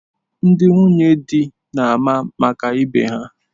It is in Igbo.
Ndị nwunye di na-ama maka ibe ha.